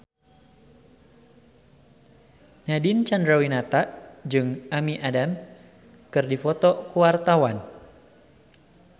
Nadine Chandrawinata jeung Amy Adams keur dipoto ku wartawan